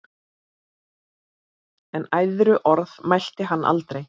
En æðruorð mælti hann aldrei.